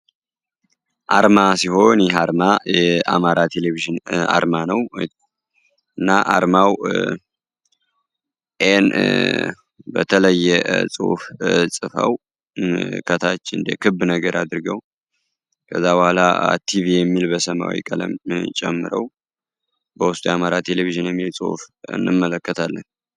አርማ ሲሆንና የአማራ ቴሌቪዥን አርመን ነው በተለየ ጽሁፍ ጽፈው ነገር አድርገው ቲቪ የሚል በሰማዊ ቀለም ጨምረው በውስጥ ያማራ ቴሌቪዥን እንመለከታለን